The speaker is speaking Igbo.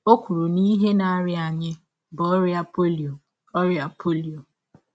Ọ kwụrụ na ihe na - arịa anyị bụ ọrịa polio. ọrịa polio.